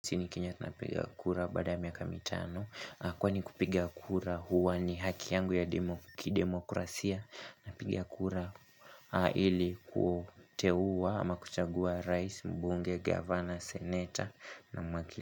Si ni Kenya tunapiga kura badaa ya miaka mitano, kwani kupiga kura huwa ni haki yangu ya kidemokrasia. Napiga kura ili kuteua ama kuchagua rais, mbunge, governor, senator na makili.